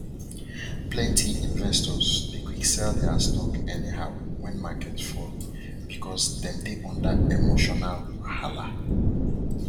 plenty investors dey quick sell their stocks anyhow when market fall because dem dey under emotional wahala